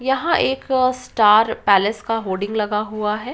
यहाँ एक star palace का होर्डिंग लगा हुआ है।